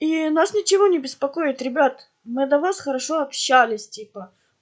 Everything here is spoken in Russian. и нас ничего не беспокоит ребят мы до вас хорошо общались типа